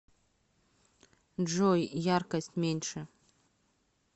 джой яркость меньше